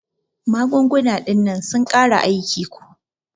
Magunguna dinnan sun kare aiki ko.